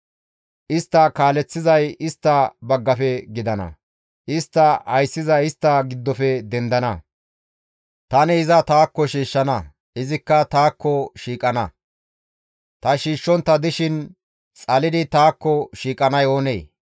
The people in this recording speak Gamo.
Istta kaaleththizay istta baggafe gidana; istta ayssizay istta giddofe dendana; tani iza taakko shiishshana; izikka taakko shiiqana. Ta shiishshontta dishin xalidi taakko shiiqanay oonee?